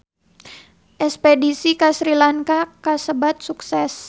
Espedisi ka Sri Lanka kasebat sukses